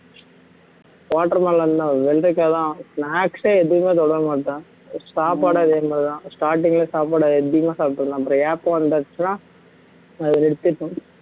watermelon தான் வெள்ளரிக்காய்தான் snacks ஏ எதுவுமே தொட மாட்டேன் சாப்பாடும் அதே மாதிரிதான் starting ல சாப்பாடு எப்பயுமே சாப்பிட்டுக்கலாம் அப்புறம் ஏப்பம் வந்தாச்சுன்னா அது நிறுத்திடணும்